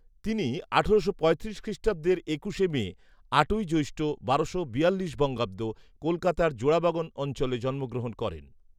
তিনি আঠারোশো পঁয়তিরিশ খ্রিষ্টাব্দের একুশে মে, আটই জ্যৈষ্ঠ, বারোশো বিয়াল্লিশ বঙ্গাব্দ, কলকাতার জোড়বাগান অঞ্চলে জন্মগ্রহণ করেন